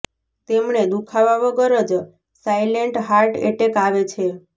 તેમણે દુખાવા વગર જ સાઇલેન્ટ હાર્ટ એટેક આવે છે